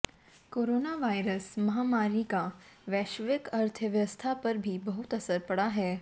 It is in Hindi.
कोरोना वायरस महामारी का वैश्विक अर्थव्यवस्था पर भी बहुत असर पड़ा है